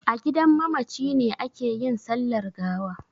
A gidan mamaci ne ake yin sallar gawa.